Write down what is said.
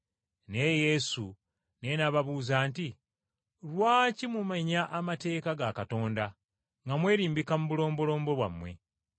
Naye Yesu naye n’ababuuza nti, “Lwaki mumenya amateeka ga Katonda, nga mwerimbika mu bulombolombo bwammwe?